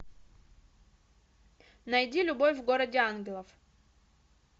найди любовь в городе ангелов